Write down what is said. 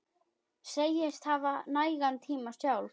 Segist hafa nægan tíma sjálf.